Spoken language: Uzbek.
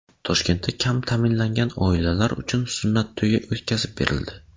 Toshkentda kam ta’minlangan oilalar uchun sunnat to‘yi o‘tkazib berildi.